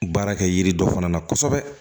Baara kɛ yiri dɔ fana na kosɛbɛ